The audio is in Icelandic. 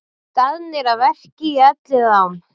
Staðnir að verki í Elliðaám